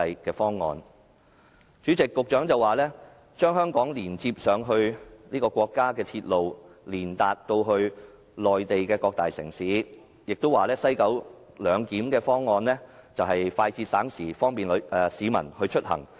代理主席，局長說將香港連接至國家的鐵路網絡，通達內地的各大城市，亦說西九龍站"一地兩檢"的方案快捷省時，方便市民出行。